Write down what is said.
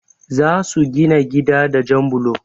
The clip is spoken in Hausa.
Za su gina gida da jan blo.